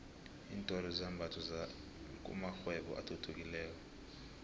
iintolo zezambatho kumakghwebo athuthukileko